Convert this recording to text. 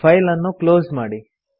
file ಅನ್ನು close ಮಾಡಿ